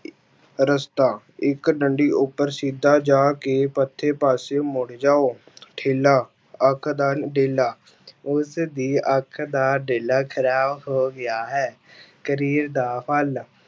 ਰਸਤਾ, ਇੱਕ ਡੰਡੀ ਉੱਪਰ ਸਿੱਧਾ ਜਾ ਕੇ ਪਾਸੇ ਮੁੜ ਜਾਓ ਠੇਲਾ ਅੱਖ ਦਾ ਡੇਲਾ, ਉਸਦੀ ਅੱਖ ਦਾ ਡੇਲਾ ਖ਼ਰਾਬ ਹੋ ਗਿਆ ਹੈ, ਕਰੀਰ ਦਾ ਫਲ